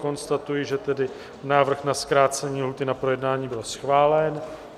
Konstatuji, že tedy návrh na zkrácení lhůty na projednání byl schválen.